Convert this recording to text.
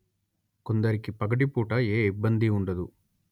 కొందరికి పగటిపూట ఏ ఇబ్బందీ ఉండదు